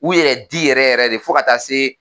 U yɛrɛ di yɛrɛ yɛrɛ de fo ka taa se